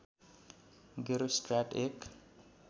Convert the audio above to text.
गेरोस्ट्राट एक